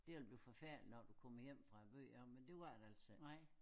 Det vil bliver forfærdeligt når du kommer hjem fra byen ja men det var altså ikke